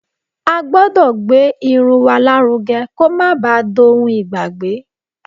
A gbọ́dọ̀ gbé irun wa lárugẹ kó má ba à dohun ìgbàgbé